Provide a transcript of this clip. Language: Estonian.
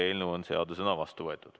Eelnõu on seadusena vastu võetud.